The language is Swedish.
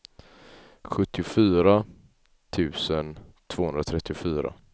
sjuttiofyra tusen tvåhundratrettiofyra